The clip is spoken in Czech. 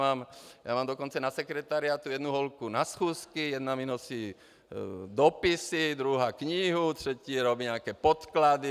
Mám dokonce na sekretariátu jednu holku na schůzky, jedna mi nosí dopisy, druhá knihu, třetí vyrábí nějaké podklady.